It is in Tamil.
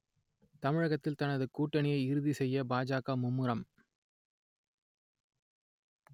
தமிழகத்தில் தனது கூட்டணியை இறுதிசெய்ய பாஜக மும்முரம்